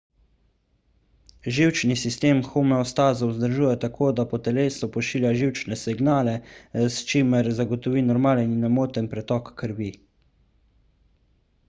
živčni sistem homeostazo vzdržuje tako da po telesu pošilja živčne signale s čimer zagotovi normalen in nemoten pretok krvi